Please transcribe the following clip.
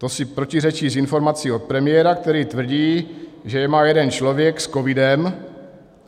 To si protiřečí s informací od premiéra, který tvrdí, že je má jeden člověk s covidem.